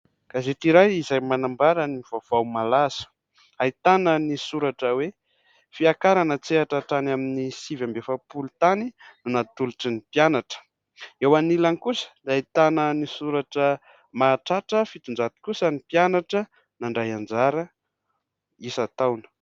Gazety iray izay manambara ny vaovao malaza ahitana ny soratra hoe : fiakarana an-tsehatra hatrany amin'ny sivy amby efapolo tany no natolotry ny mpianatra. Eo anilany kosa ahitana ny soratra : mahatratra fitonjato kosa ny mpianatra nandray anjara isan-taona.